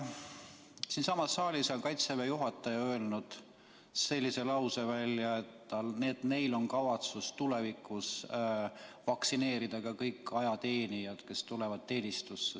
Siinsamas saalis on Kaitseväe juhataja öelnud välja sellise lause, et neil on kavas vaktsineerida tulevikus kõik ajateenijad, kes tulevad teenistusse.